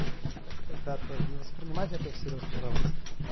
так ребята не воспринимайте это всерьёз пожалуйста